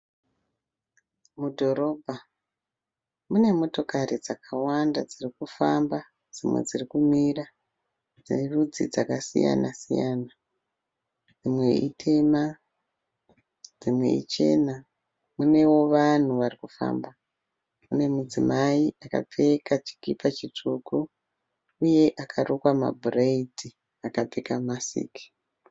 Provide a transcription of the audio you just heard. Mudhorobha mune motokari dzakawanda dzirikufamba dzimwe dzirikumira dzerudzi dzakasiyana siyana. Dzimwe ítema dzimwe ichena. Munewo vanhu varikufamba. Mune mudzimai akapfeka chikipa chitsvuku uye akarukwa ma bhureidhi akapfeka masiki.